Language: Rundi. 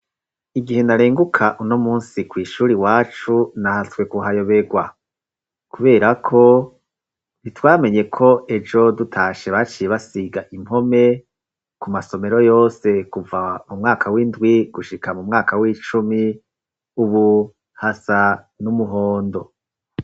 Igihe narenguka uno munsi kw'ishuri wacu nahatswe kuhayobegwa kubera ko ntitwamenye ko ejo dutashe baciye basiga impome ku masomero yose kuva mu mwaka w'indwi gushika mu mwaka w'icumi w'ubuhasa n'umuhondo.